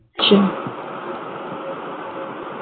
হম